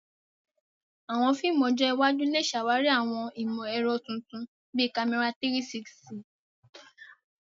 Àwọn fíìmù ọjọ́ iwájú lè ṣàwárí àwọn ìmọ̀ ẹ̀rọ tuntun bíi kámẹ́rà 360.